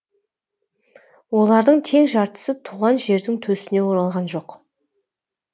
олардың тең жартысы туған жердің төсіне оралған жоқ